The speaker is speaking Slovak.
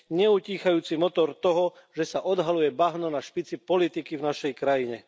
neutíchajúci motor toho, že sa odhaľuje bahno na špici politiky v našej krajine.